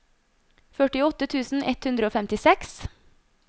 førtiåtte tusen ett hundre og femtiseks